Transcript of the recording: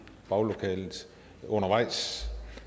baglokalet undervejs